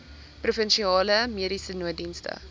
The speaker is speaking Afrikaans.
provinsiale mediese nooddienste